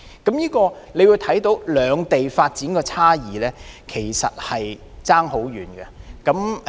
從這例子可見，兩地的發展其實相差甚遠。